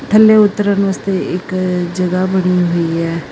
ਥੱਲੇ ਉਤਰਨ ਵਾਸਤੇ ਇਕ ਜਗ੍ਹਾ ਬਣੀ ਹੋਈ ਹੈ।